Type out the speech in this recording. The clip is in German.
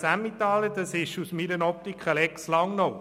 Aus meiner Optik ist dies eine Lex Langnau.